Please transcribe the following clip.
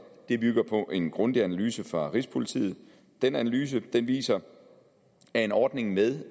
bygger på en grundig analyse fra rigspolitiet den analyse viser at en ordning med